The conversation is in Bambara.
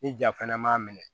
Ni ja fana m'a minɛ